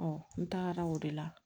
n tagara o de la